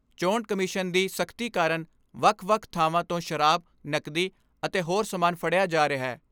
ਚੋਣ ਕਮਿਸ਼ਨ ਦੀ ਸਖਤੀ ਕਾਰਨ ਵੱਖ ਵੱਖ ਥਾਵਾਂ ਤੋਂ ਸ਼ਰਾਬ, ਨਕਦੀ ਅਤੇ ਹੋਰ ਸਾਮਾਨ ਫੜਿਆ ਜਾ ਰਿਹੈ।